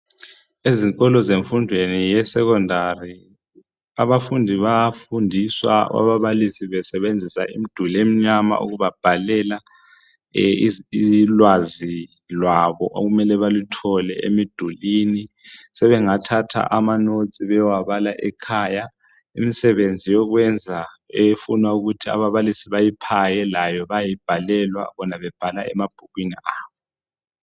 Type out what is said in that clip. Ezikolo zemfundweni yesekhondari abafundi bayafundiswa ababalisi besebenzisa imduli emnyama ukuba bhalela ulwazi lwabo okum ele baluthole emdulwini. Sebengathatha amanotes beyewabala ekhaya. Imsebenzi yokwenza efuna ukuthi ababalisi bayiphaye layo bayibhalelwa bona bebhala emabhukwini abo.